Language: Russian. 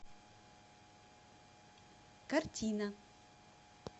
картина